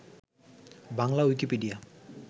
Bangla Wikipedia